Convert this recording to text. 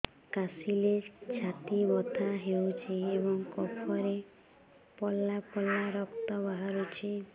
କାଶିଲେ ଛାତି ବଥା ହେଉଛି ଏବଂ କଫରେ ପଳା ପଳା ରକ୍ତ ବାହାରୁଚି